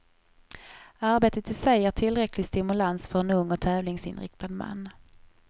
Arbetet i sig ger tillräcklig stimulans för en ung och tävlingsinriktad man.